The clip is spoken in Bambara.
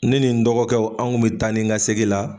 Ne ni n dɔgɔkɛw an' kun be taa ni ka segi la